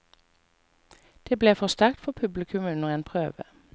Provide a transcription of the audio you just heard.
Det ble for sterkt for publikum under en prøve.